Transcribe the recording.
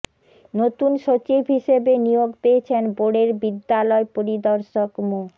নতুন সচিব হিসেবে নিয়োগ পেয়েছেন বোর্ডের বিদ্যালয় পরিদর্শক মো